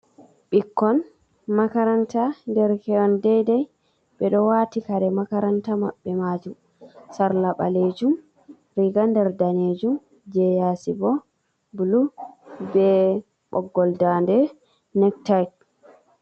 Ɓikkon makaranta derkehon deidai, ɓeɗo waati kare makaranta maɓɓe majum. Sarla ɓalejum, riga nder danejum, je yasi bo bulu, be ɓoggol daande nektayt.